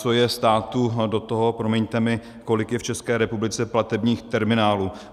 Co je státu do toho, promiňte mi, kolik je v České republice platebních terminálů?